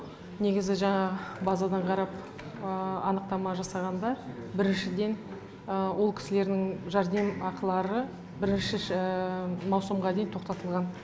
негізі жаңа базадан қарап анықтама жасағанда біріншіден ол кісілердің жәрдемақылары бірінші маусымға дейін тоқтатылған